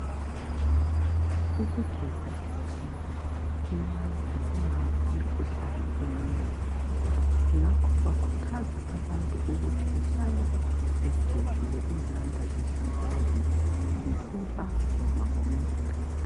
Ukugeza izandla kuyavikela imikhuhlane eminengi, ngakho bakhuthaza abantu ukuthi behlale begezile izandla zihlambulukile, ngesepa noma ngomlotha.